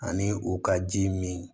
Ani u ka ji min